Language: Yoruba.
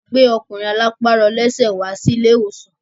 A gbẹ́ ọkùnrin arọlápàrọlẹ́sẹ̀ wá sí ilé ìwòsàn.